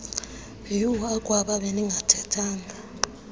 uh akwaba bendingathethanga